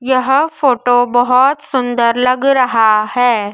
यह फोटो बहुत सुंदर लग रहा है।